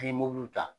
N'i ye mobiliw ta